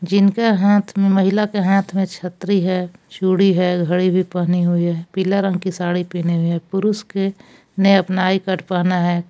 इनका हाथ में महिला के हाथ में छत्री है चूड़ी है घड़ी भी पहनी हुई है पीला रंग की साडी पहनी हुई है पुरुष के ने अपना आई कार्ड पहना है।